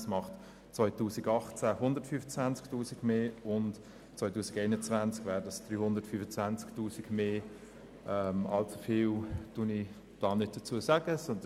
Im Jahr 2018 macht das zusätzlich 125 000 Franken aus, und im Jahr 2021 wären es 325 000 Franken mehr.